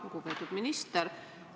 Lugupeetud minister!